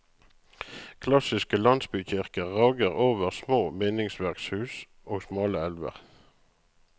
Klassiske landsbykirker rager over små bindingsverkshus og smale elver.